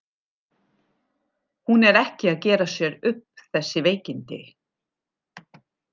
Hún er ekki að gera sér upp þessi veikindi.